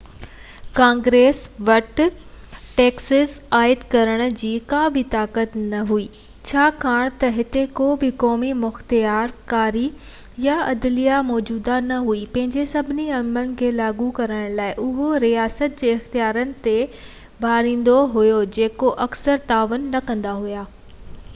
Congress وٽ taxes عائد ڪرڻ جي ڪابه طاقت نه هئي ۽ ڇاڪاڻ ته هتي ڪو به قومي مختيارڪاري يا عدليه موجود نه هئي پنهنجي سڀني عملن کي لاڳو ڪرڻ لاءِ اهو رياست جي اختيارين تي ڀاڙيندو هو جيڪي اڪثر تعاون نه ڪندا هئا